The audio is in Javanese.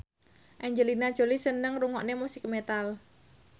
Angelina Jolie seneng ngrungokne musik metal